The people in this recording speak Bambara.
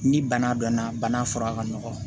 Ni bana dɔnna bana fura ka nɔgɔn